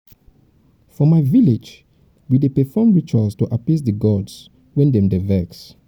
for my village we dey perform rituals to appease di gods wen dem dey vex.